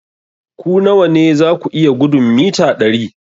Ku nawa ne za ku iya gudun mita dari?